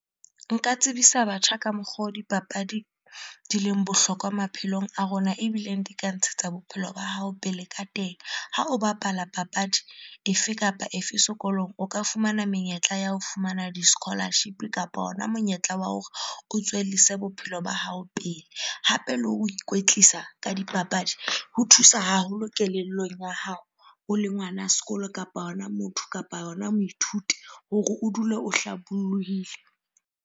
Nka tsebisa batjha ka mokgo dipapadi di leng bohlokwa maphelong a rona, ebileng di ka ntshetsa bophelo ba hao pele ka teng. Ha o bapala papadi efe kapa efe sekolong, o ka fumana menyetla ya ho fumana di-scholarship-e kapa hona monyetla wa hore o tswellise bophelo ba hao pele. Hape le ho ikwetlisa ka dipapadi ho thusa haholo kelellong ya hao, o le ngwana sekolo kapa hona motho, kapa hona moithuti hore o dule o hlabollohile